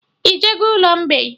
Ị jego ụlọ mgbei?